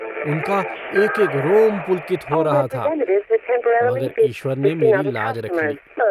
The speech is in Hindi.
उनका एकएक रोम पुलकित हो रहा था मगर ईश्वर ने मेरी लाज रख ली।